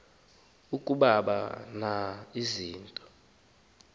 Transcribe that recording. akaba na kuzibamba